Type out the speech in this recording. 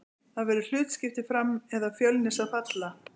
Það verður hlutskipti Fram eða Fjölnis að falla.